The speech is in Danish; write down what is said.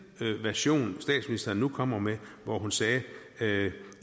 version statsministeren nu kommer med hvor hun sagde sagde